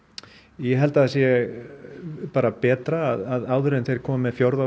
ég held að það sé bara betra að áður en þeir koma með fjórða